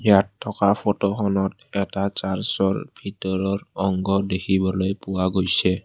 ইয়াত থকা ফটো খনত এটা চাৰ্চ ৰ ভিতৰৰ অংগ দেখিবলৈ পোৱা গৈছে।